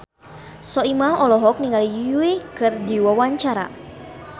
Soimah olohok ningali Yui keur diwawancara